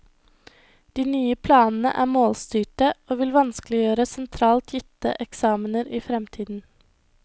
De nye planene er målstyrte, og vil vanskeliggjøre sentralt gitte eksamener i fremtiden.